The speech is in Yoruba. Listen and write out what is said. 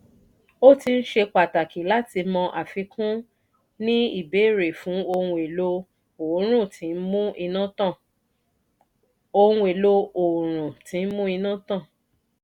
o tin ṣe pàtàkì láti mọ àfikún ní ìbéèrè fún ohun èlò oòrùn tí n mú iná tàn.